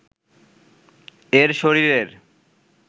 এর শরীরের